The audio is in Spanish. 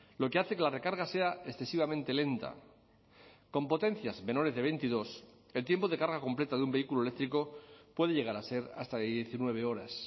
lo que hace que la recarga sea excesivamente lenta con potencias menores de veintidós el tiempo de carga completa de un vehículo eléctrico puede llegar a ser hasta de diecinueve horas